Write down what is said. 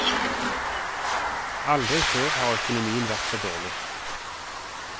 Aldri før har økonomien vært så dårlig.